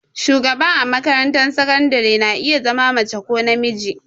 Shugaba a makarantar sakandare na iya zama mace ko namiji.